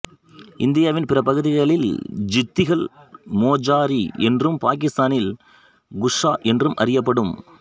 இந்தியாவின் பிற பகுதிகளில் ஜுத்திகள் மோஜாரி என்றும் பாகிஸ்தானில் குஸ்ஸா என்றும் அறியப்படும்